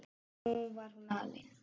Nú var hún alein.